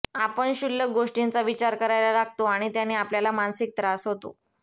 आपण क्षुल्लक गोष्टींचा विचार करायला लागतो आणि त्याने आपल्याला मानसिक त्रास होतो